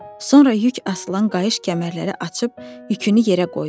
Sonra yük asılan qayış-kəmərləri açıb yükünü yerə qoydu.